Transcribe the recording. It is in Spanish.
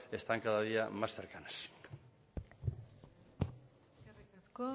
están cada día más cercanas eskerrik asko